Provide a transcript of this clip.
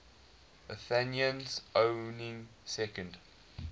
athenians owning second